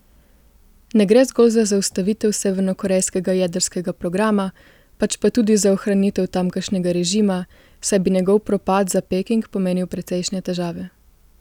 Ne gre zgolj za zaustavitev severnokorejskega jedrskega programa, pač pa tudi za ohranitev tamkajšnjega režima, saj bi njegov propad za Peking pomenil precejšnje težave.